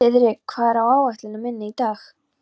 Þiðrik, hvað er á áætluninni minni í dag?